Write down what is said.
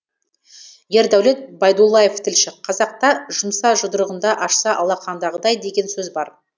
ердәулет байдуллаев тілші қазақта жұмса жұдырығында ашса алақандағыдай деген сөз бар